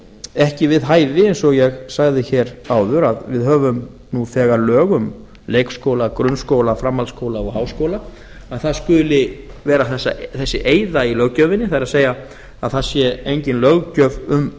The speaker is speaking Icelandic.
ekki við hæfi eins og ég sagði hér áður að við höfum nú þegar lög um leikskóla grunnskóla framhaldsskóla og háskóla að það skuli vera þessi eyða í löggjöfinni það er að það sé engin löggjöf um